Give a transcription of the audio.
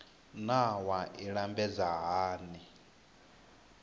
naa wua i lambedzwa hani